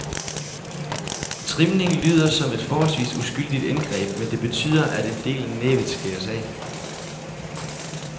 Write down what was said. Trimning lyder som et forholdsvis uskyldigt indgreb, men det betyder, at en del af næbbet skæres af.